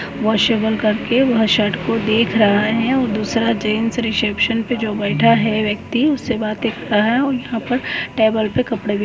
उआसिबल करके वह शर्ट को देख रहा है। और दूसरा जेंट्स रिसेप्शन पे जो बैठा है जो व्यक्ति उससे बातें कर रहा है। और यहां पर टेबल पर कपड़े भी--